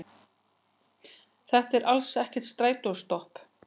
Þetta er alls ekkert strætóstopp